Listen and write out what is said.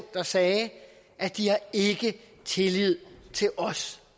der sagde at de ikke havde tillid til os